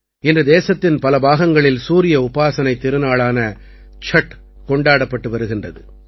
இன்று தேசத்தின் பல பாகங்களில் சூரிய உபாசனைத் திருநாளான சட் கொண்டாடப்பட்டு வருகின்றது